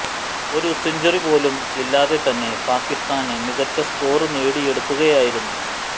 ഒരു സെഞ്ചുറി പോലും ഇല്ലാതെ തന്നെ പാക്കിസ്ഥാന് മികച്ച് സ്കോര് നേടിയെടുക്കുകയായിരുന്നു